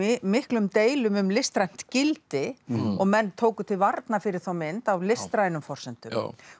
miklum deilum um listrænt gildi og menn tóku til varna fyrir þá mynd á listrænum forsendum